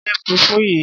Jẹ fùfú yìí.